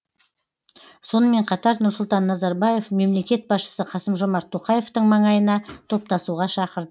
сонымен қатар нұрсұлтан назарбаев мемлекет басшысы қасым жомарт тоқаевтың маңайына топтасуға шақырды